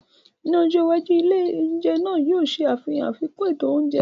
Ní ọjọ́ iwájú, ilé oúnjẹ náà yóò ṣe àfihàn àfikún ètò oúnjẹ.